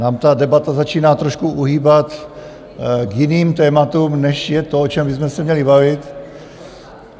Nám ta debata začíná trošku uhýbat k jiným tématům, než je to, o čem bychom se měli bavit.